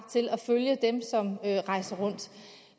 til at følge dem som rejser rundt